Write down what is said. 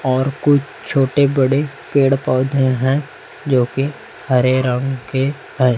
और कुछ छोटे बड़े पेड़ पौधे हैं जो की हरे रंग के है।